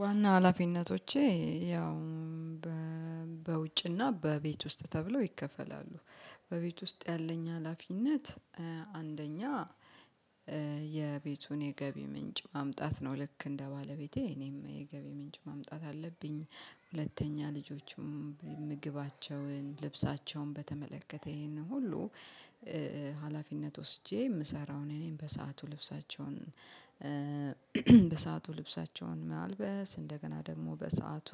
ዋና ሀላፊነቶቼ ያው በውጭና በቤት ውስጥ ተብሎ ይከፈላሉ። በቤት ውስጥ ያለኝ ሀላፊነት አንደኛ የቤቱን የገቢ ምንጭ ማምጣት ነው ልክ እንደ ባለቤቴ እኔም የገቢ ምንጭ ማምጣት አለብኝ። ሁለተኛ ልጆችም ምግባቸውን ልብሳቸውን በተመለከተ ይሄንን ሁሉ ሀላፊነት ወስጄ የምሰራው እኔ ነኝ። በሰአቱ ልብሳቸውን በሰአቱ ልብሳቸውን ማልበስ እንደገና ደግሞ በሰአቱ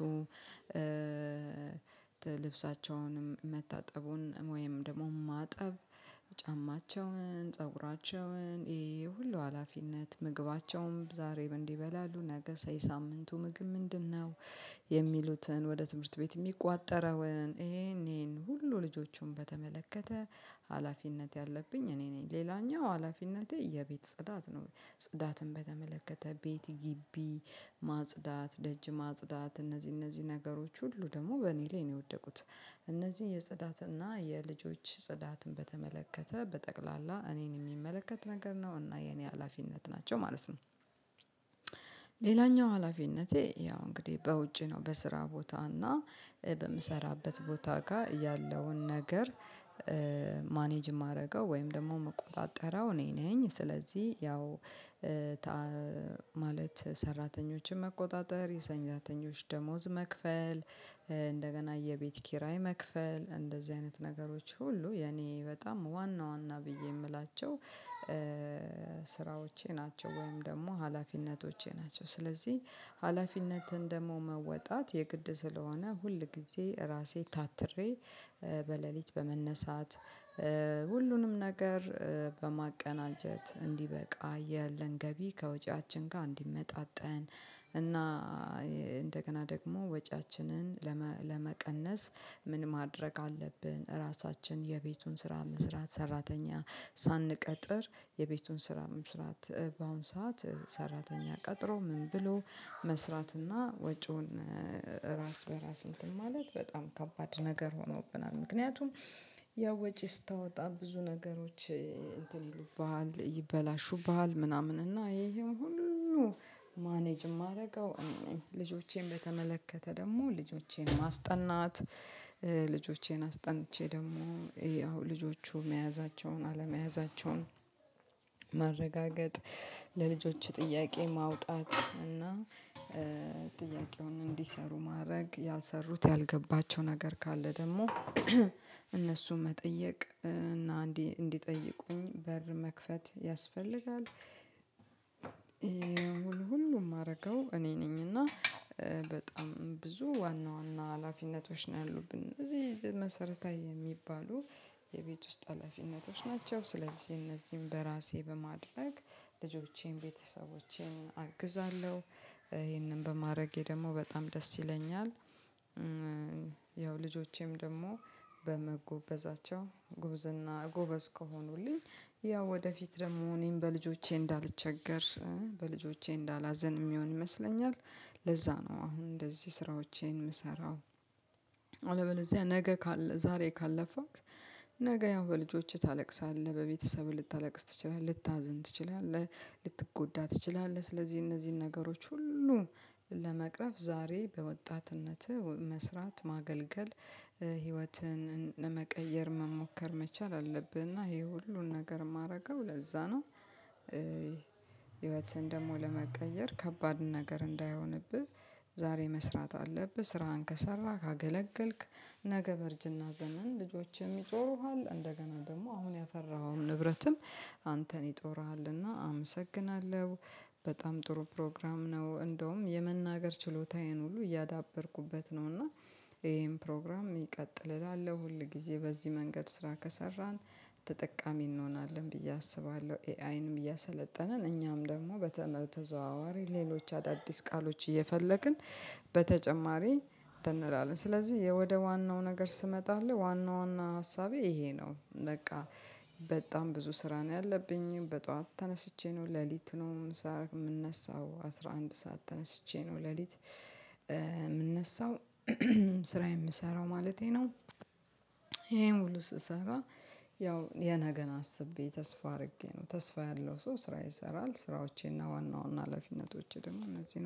ልብሳቸውንም መታጠቡን ወይም ደግሞ ማጠብ። ጫማቸውን ፀጉራቸውን ይሄ ሁሉ ሀላፊነት ምግባቸውም ዛሬ ምን ይበላሉ ነገሳ የሳምንቱ ምግብ ምንድነው? የሚሉትን ወደ ትምህርት ቤት የሚቋጠረውን ይሄን ይሄን ሁሉ ልጆቹን በተመለከተ ሀላፊነት ያለብኝ እኔ ነኝ። ሌላኛው ሀላፊነቴ የቤት ጽዳት ነው። ጽዳትን በተመለከተ ቤት ግቢ ማጽዳት ደጅ ማጽዳት እነዚህ እነዚህ ነገሮች ሁሉ ደግሞ በእኔ ላይ ነው የወደቁት። እነዚህ የጽዳትና የልጆች ጽዳትን በተመለከተ በጠቅላላ እኔን የሚመለከት ነገር ነው እና የኔ ሀላፊነት ናቸው ማለት ነው። ሌላኛው ሀላፊነቴ ያው እንግዲህ በውጪ ነው በስራ ቦታ እና በምሰራበት ቦታ ጋር ያለውን ነገር ማኔጅ የማደርገው ወይም ደግሞ ምቆጣጠረው እኔ ነኝ። ስለዚህ ያው ማለት ሰራተኞችን መቆጣጠር የሰንዛተኞች ደሞዝ መክፈል እንደገና የቤት ኪራይ መክፈል እንደዚህ አይነት ነገሮች ሁሉ የኔ በጣም ዋና ዋና ብዬ የምላቸው ስራዎቼ ናቸው። ወይም ደግሞ ሀላፊነቶቼ ናቸው። ስለዚህ ሀላፊነትን ደግሞ መወጣት የግድ ስለሆነ ሁል ጊዜ ራሴ ታትሬ በሌሊት በመነሳት ሁሉንም ነገር በማቀናጀት እንዲበቃ ያለን ገቢ ከወጪያችን ጋር እንዲመጣጠን። እና እንደገና ደግሞ ወጪያችንን ለመ ለመቀነስ ምን ማድረግ አለብን? ራሳችን የቤቱን ስራ መስራት ሰራተኛ ሳንቀጥር የቤቱን ስራ መስራት በአሁን ሰዓት ሰራተኛ ቀጥሮ ምን ብሎ መስራትና ወጪውን ራስ በራስ እንትን ማለት በጣም ከባድ ነገር ሆኖብናል። ምክንያቱም ያው ወጪ ስታወጣ ብዙ ነገሮች እንትን ይሉብሃል ይበላሹብሃል ምናምን እና ይሄ ይሄ ሁሉ ማኔጅ የማደርገው እኔ ነኝ። ልጆቼን በተመለከተ ደግሞ ልጆቼን ማስጠናት ልጆቼን አስጠንቼ ደግሞ ይሄ አሁን ልጆቹ መያዛቸውን አለመያዛቸውን ማረጋገጥ። ለልጆች ጥያቄ ማውጣት እና ጥያቄውን እንዲሰሩ ማድረግ ያልሰሩት ያልገባቸው ነገር ካለ ደግሞ እነሱ መጠየቅ እና እንዲህ እንዲጠይቁኝ በር መክፈት ያስፈልጋል። ሁሉ ሁሉ የማደርገው እኔ ነኝና በጣም ብዙ ዋና ዋና ሀላፊነቶች ነው ያሉብን እነዚህ መሰረታዊ የሚባሉ የቤት ውስጥ አለፊነቶች ናቸው ስለዚህ እነዚህን በራሴ በማድረግ ልጆቼን ቤተሰቦቼን አግዛለሁ። ይሄንን በማረጌ ደግሞ በጣም ደስ ይለኛል። ልጆቼም ደግሞ በመጎበዛቸው ጉብዝና ጎበዝ ከሆኑልኝ ያው ወደፊት ደግሞ እኔም በልጆቼ እንዳልቸገር በልጆቼ እንዳላዘን የሚሆን ይመስለኛል። ለዛ ነው አሁን እንደዚህ ስራዎቼን የምሰራው። አለበለዚያ ነገ ካል ዛሬ ካለፋክ ነገ ያው በልጆችህ ታለቅሳለህ በቤተሰብህ ልታለቅስ ትችላለህ ልታዝን ትችላለህ። ልትጎዳ ትችላለህ ስለዚህ እነዚህን ነገሮች ሁሉ ለመቅረፍ ዛሬ በወጣትነትህ መስራት ማገልገል ህይወትን ለመቀየር መሞከር መቻል አለብህ። እና ይሄ ሁሉን ነገር የማደርገው ለዛ ነው። ህይወትን ደግሞ ለመቀየር ከባድ ነገር እንዳይሆንብህ። ዛሬ መስራት አለብህ ስራህን ከሰራህ ካገለገልክ ነገ በርጅና ዘመን ልጆችህም ይጦሩሃል። እንደገና ደግሞ አሁን ያፈራኸውን ንብረትም አንተን ይጦርሃልና አመሰግናለሁ። በጣም ጥሩ ፕሮግራም ነው እንደውም የመናገር ችሎታዬን ሁሉ እያዳበርኩበት ነው። እና ይሄን ፕሮግራም ይቀጥል እላለሁ ሁል ጊዜ በዚህ መንገድ ስራ ከሰራን ተጠቃሚ እንሆናለን ብዬ አስባለሁ። ኤአይንም እያሰለጠንን እኛም ደግሞ በተ በተዘዋዋሪ ሌሎች አዳዲስ ቃሎች እየፈለግን በተጨማሪ እንትን እንላለን ስለዚህ የወደ ዋናው ነገር ስመጣለህ ዋና ዋና ሀሳቤ ይሄ ነው። በቃ በጣም ብዙ ስራ ነው ያለብኝ። በጧት ተነስቼ ነው ለሊት ነው የምነሳው አስራ አንድ ሰዓት ተነስቼ ነው ለሊት የምነሳው። ስራ የምሰራው ማለቴ ነው። ይሄን ሁሉ ስሰራ ያው የነገን አስቤ ተስፋ አድርጌ ነው። ተስፋ ያለው ሰው ስራ ይሰራል። ስራዎቼና ዋናዋና ሀላፊነቶቼ ደግሞ እነዚህ ናቸው